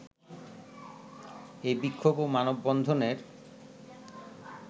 এই বিক্ষোভ ও মানববন্ধনের